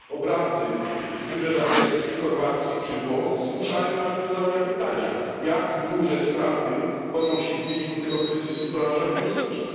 Obrazy z wybrzeża Grecji, Chorwacji czy Włoch zmuszają nas do zadania pytania, jak duże straty ponosi w wyniku tego kryzysu branża turystyczna.